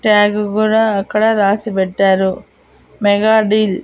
Tag గూడా అక్కడ రాసి పెట్టారు మెగా డీల్ .